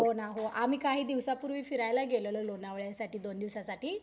हो ना हो आम्ही काही दिवसापूर्वी फिरायला गेलेलो लोणावळ्यासाठी दोन दिवसासाठी